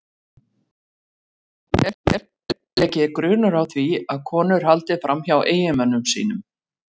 Hún dugar líka vel leiki grunur á því að konur haldi fram hjá eiginmönnum sínum.